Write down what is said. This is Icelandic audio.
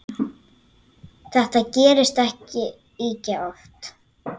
Þetta gerist ekki ýkja oft.